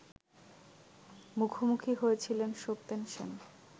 মুখোমুখি হয়েছিলেন সত্যেন সেন